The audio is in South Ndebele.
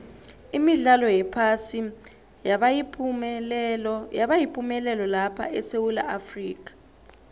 imidlalo yephasi yabayipumelelo lapha esewula afrika